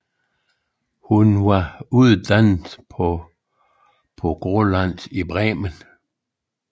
Hun var uddannet på Grolland i Bremen